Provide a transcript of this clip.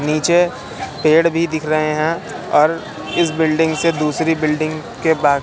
नीचे पेड़ भी दिख रहे हैं और इस बिल्डिंग से दूसरी बिल्डिंग के बा--